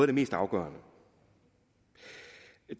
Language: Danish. det mest afgørende